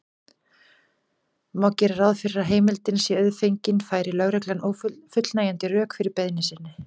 Má gera ráð fyrir að heimildin sé auðfengin færi lögregla fullnægjandi rök fyrir beiðni sinni.